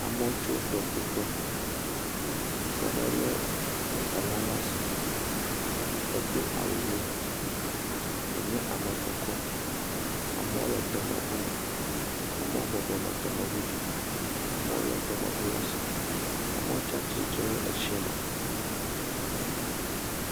Amewo tso tɔƒuƒe, ŋutsu aɖe lé elã ɖe asi, edo awu ʋe, wònye ame kɔkɔ, amewo le tɔmeŋu me, amewo bɔbɔ nɔ tɔmeŋu dzi, amewo lé tɔmeŋu le asi, amewo tsatsitre le etsie me.